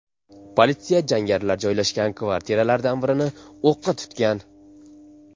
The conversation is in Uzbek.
Politsiya jangarilar joylashgan kvartiralardan birini o‘qqa tutgan.